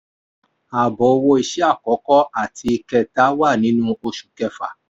ààbọ̀ owó iṣẹ́ akọkọ àti kẹta wà nínú oṣù kẹfà.